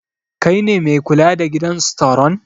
Kai ne mai kula da gidan staron?